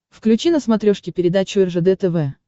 включи на смотрешке передачу ржд тв